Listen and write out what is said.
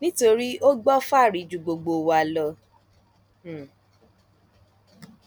nítorí ó gbọ fáàrí ju gbogbo wa lọ um